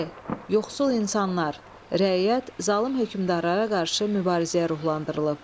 E. Yoxsul insanlar, rəiyyət zalım hökmdarlara qarşı mübarizəyə ruhlandırılıb.